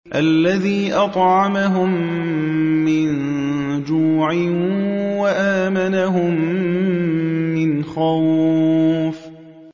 الَّذِي أَطْعَمَهُم مِّن جُوعٍ وَآمَنَهُم مِّنْ خَوْفٍ